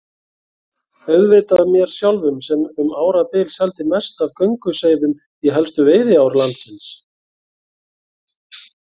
Auðvitað mér sjálfum sem um árabil seldi mest af gönguseiðum í helstu veiðiár landsins.